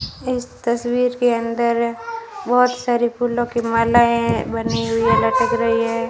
इस तस्वीर के अंदर बहुत सारी फूलों की मालाएं बनी हुई है लटक रही है।